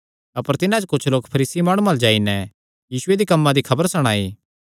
अपर तिन्हां च कुच्छ लोक फरीसी माणुआं अल्ल जाई नैं यीशुये दे कम्मां दी खबर सणाई